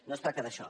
no es tracta d’això